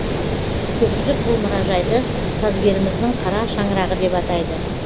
көпшілік бұл мұражайды сазгеріміздің қара шаңырағы деп атайды